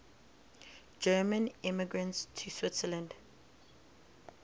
german immigrants to switzerland